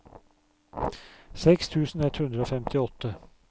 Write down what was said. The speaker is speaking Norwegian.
seks tusen ett hundre og femtiåtte